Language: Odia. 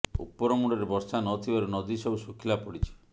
ଉପର ମୁଣ୍ଡରେ ବର୍ଷା ନଥିବାରୁ ନଦୀ ସବୁ ଶୁଖିଲା ପଡ଼ିଛି